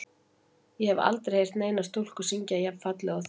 Ég hef aldrei heyrt neina stúlku syngja jafn fallega og þig.